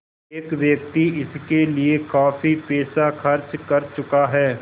एक व्यक्ति इसके लिए काफ़ी पैसा खर्च कर चुका है